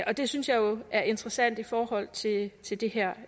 og det synes jeg jo er interessant i forhold til til det her